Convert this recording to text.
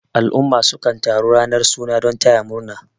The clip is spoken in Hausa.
al'umma sukan taru ranar suna don taya murna